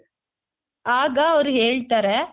ಆಗ ಅವ್ರು ಹೇಳ್ತಾರೆ.